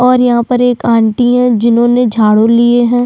और यहाँ पर एक आंटी है जिन्होंने झाड़ू लिए है।